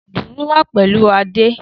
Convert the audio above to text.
Dùùrù wa pẹlu Ade.